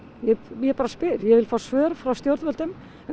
ég bara spyr ég vil fá svör frá stjórnvöldum um